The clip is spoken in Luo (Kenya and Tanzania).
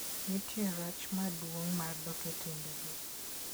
Nitie rach maduong' mar dok e timbego.